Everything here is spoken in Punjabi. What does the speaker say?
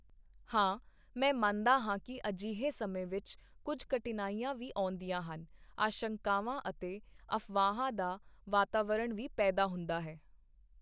ਹਾਂ, ਮੈਂ ਮੰਨਦਾ ਹਾਂ ਕਿ ਅਜਿਹੇ ਸਮੇਂ ਵਿੱਚ ਕੁਝ ਕਠਿਨਾਈਆਂ ਵੀ ਆਉਂਦੀਆਂ ਹਨ, ਆਸ਼ੰਕਾਵਾਂ ਅਤੇ ਅਫਵਾਹਾਂ ਦਾ ਵਾਤਾਵਰਣ ਵੀ ਪੈਦਾ ਹੁੰਦਾ ਹੈ।